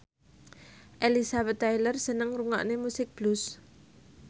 Elizabeth Taylor seneng ngrungokne musik blues